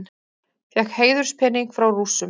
Fékk heiðurspening frá Rússum